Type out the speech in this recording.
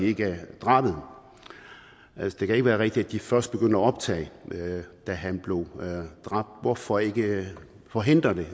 ikke drabet det kan ikke være rigtigt at de først begynder at optage da han blev dræbt hvorfor ikke forhindre det